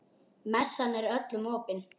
Messan er öllum opin.